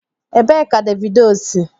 Ebee ka Davido si?